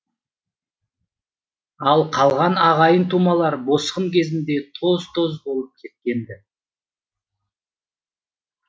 ал қалған ағайын тумалар босқын кезінде тоз тоз болып кеткен ді